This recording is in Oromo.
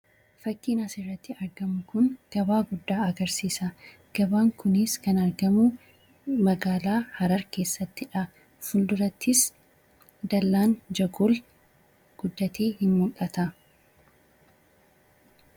Fakkiin asirratti argamu kun gabaa guddaa agarsiisa. Gabaan kunis kan argamu magaalaa Harar keessatti dha. Fuuldurattis Dallaan Jagol guddatee hin mul'ata.